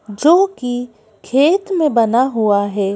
जो की खेत में बना हुआ है।